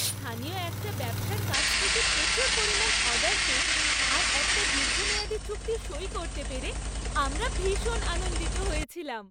স্থানীয় একটা ব্যবসার কাছ থেকে প্রচুর পরিমাণ অর্ডার পেয়ে আর একটা দীর্ঘমেয়াদি চুক্তি সই করতে পেরে আমরা ভীষণ আনন্দিত হয়েছিলাম।